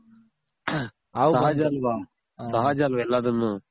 ಯಾಕಂದ್ರೆ ಸಹಜ ಅಲ್ವ ಸಹಜ ಅಲ್ವ ಎಲ್ಲಾದುನು